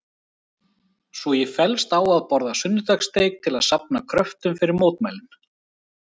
Svo ég fellst á að borða sunnudagssteik til að safna kröftum fyrir mótmælin.